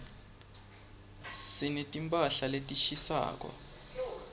sineti mphahla letishisako